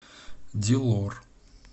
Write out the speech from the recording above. дилор